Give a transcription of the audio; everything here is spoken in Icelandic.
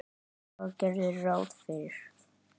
Braga gerðu ráð fyrir.